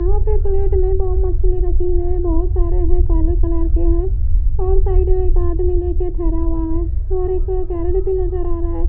यहां पे प्लेट में दो मछली रखी है बहोत सारे हैं काले कलर के हैं और साइड में एक आदमी लेकर खड़ा हुआ है और एक कैरेट भी नज़र आ रहा है।